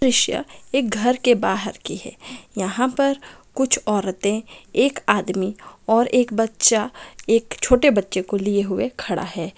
दृश्य एक घर के बाहर की है। यहां पर कुछ औरतें एकआदमी और एक एक बच्चा एक छोटे बच्चे को लिए हुए खड़ा है।